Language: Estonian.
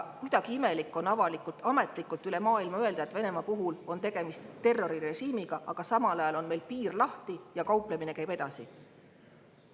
Kuidagi imelik on avalikult ametlikult üle maailma öelda, et Venemaa puhul on tegemist terrorirežiimiga, aga samal ajal on meil piir lahti ja kauplemine käib edasi.